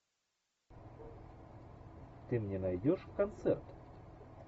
ты мне найдешь концерт